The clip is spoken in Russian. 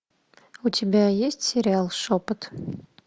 у тебя есть сериал шепот